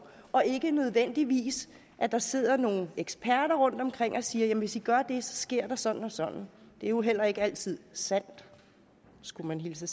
og ikke nødvendigvis at der sidder nogle eksperter rundtomkring og siger at hvis i gør det så sker der sådan og sådan det er jo heller ikke altid sandt skulle man hilse